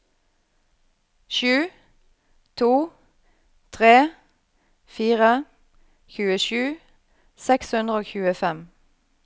sju to tre fire tjuesju seks hundre og tjuefem